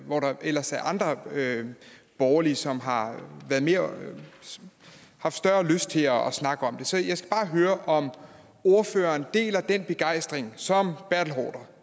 hvor der ellers er andre borgerlige som har haft større lyst til at snakke om det så jeg skal bare høre om ordføreren deler den begejstring som herre